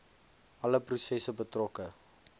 alle prosesse betrokke